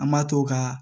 An ma to ka